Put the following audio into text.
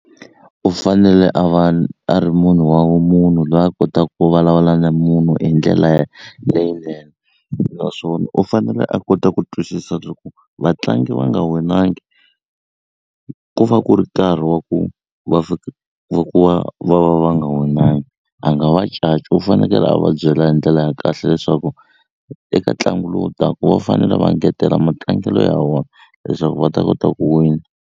U fanele a va a ri munhu wa munhu lwa kotaka ku vulavula na munhu hi ndlela leyinene naswona u fanele a kota ku twisisa loko vatlangi va nga winangi ku va ku ri nkarhi wa ku va va ku va va va va nga winangi a nga va caci u fanekele a va byela hi ndlela ya kahle leswaku eka ntlangu lowu taku va fanele va engetela matlangelo ya wona leswaku va ta kota ku wina.